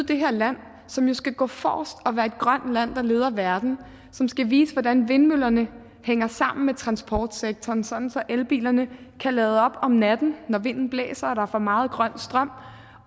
det her land som jo skal gå forrest og være et grønt land der leder verden og som skal vise hvordan vindmøllerne hænger sammen med transportsektoren sådan at elbilerne kan lade op om natten når vinden blæser og der er for meget grøn strøm